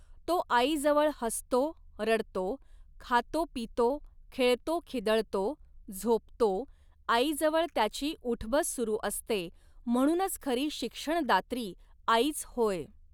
तो आईजवळ हसतो, रडतो, खातोपितो, खेळतो खिदळतो, झोपतो, आईजवळ त्याची ऊठबस सुरू असते, म्हणूनच खरी शिक्षणदात्री आईच होय.